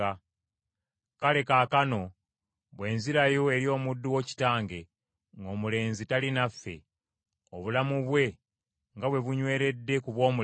“Kale kaakano, bwe nzirayo eri omuddu wo kitange ng’omulenzi tali naffe, obulamu bwe nga bwe bunyweredde ku bw’omulenzi,